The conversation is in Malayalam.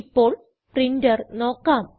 ഇപ്പോൾ പ്രിന്റർ നോക്കാം